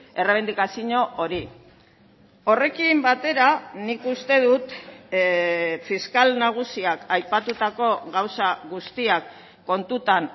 errebindikazio hori horrekin batera nik uste dut fiskal nagusiak aipatutako gauza guztiak kontutan